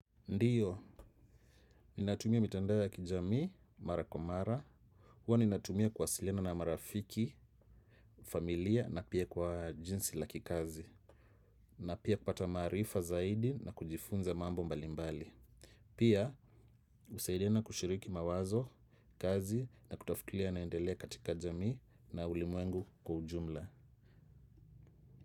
Ndiyo, ninatumia mitandao ya kijamii mara kwa mara. Huwa ninatumia kuwasiliana na marafiki, familia na pia kwa jinsi la kikazi. Na pia kupata maarifa zaidi na kujifunza mambo mbalimbali. Pia, husaidiana kushiriki mawazo, kazi na kutafutilia yanayoendelea katika jamii na ulimwengu kwa ujumla.